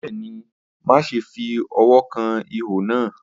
Bẹẹni, maṣe fi ọwọ kan iho naa.